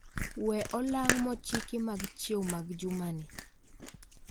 Wee olang' mochiki mag chiew mag juma ni